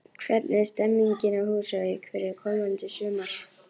Hvernig er stemmingin á Húsavík fyrir komandi sumar?